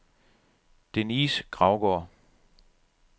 Denise Gravgaard